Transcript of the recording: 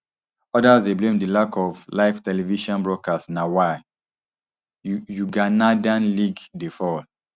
odas dey blame di lack of live television broadcasts na why uganadan league dey fall